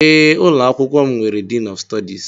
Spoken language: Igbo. Ee ụlọ akwụkwọ m nwere Diin ọf Stọdis